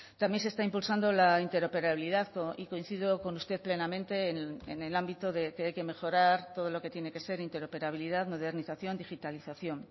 también se está impulsando la interoperabilidad y coincido con usted plenamente en el ámbito de que hay que mejorar todo lo que tiene que ser interoperabilidad modernización digitalización